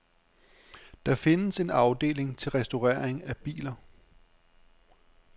Der findes en afdeling til restaurering af biler.